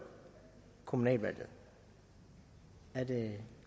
kommunalvalget er det